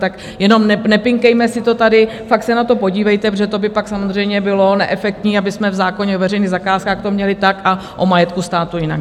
Tak jenom nepinkejme si to tady, fakt se na to podívejte, protože to by pak samozřejmě bylo neefektní, abychom v zákoně o veřejných zakázkách to měli tak a o majetku státu jinak.